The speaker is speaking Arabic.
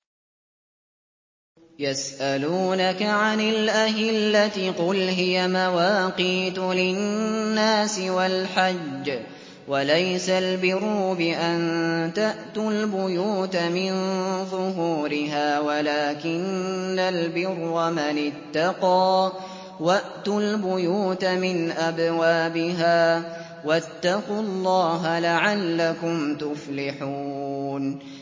۞ يَسْأَلُونَكَ عَنِ الْأَهِلَّةِ ۖ قُلْ هِيَ مَوَاقِيتُ لِلنَّاسِ وَالْحَجِّ ۗ وَلَيْسَ الْبِرُّ بِأَن تَأْتُوا الْبُيُوتَ مِن ظُهُورِهَا وَلَٰكِنَّ الْبِرَّ مَنِ اتَّقَىٰ ۗ وَأْتُوا الْبُيُوتَ مِنْ أَبْوَابِهَا ۚ وَاتَّقُوا اللَّهَ لَعَلَّكُمْ تُفْلِحُونَ